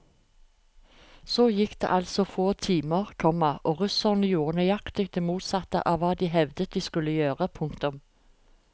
Så gikk det altså få timer, komma og russerne gjorde nøyaktig det motsatte av hva de hevdet de skulle gjøre. punktum